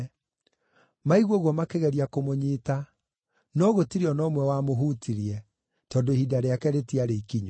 Maigua ũguo makĩgeria kũmũnyiita, no gũtirĩ o na ũmwe wamũhutirie, tondũ ihinda rĩake rĩtiarĩ ikinyu.